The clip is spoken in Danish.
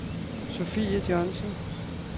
Sofie Johnsen